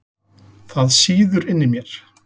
Það sýður inni í mér.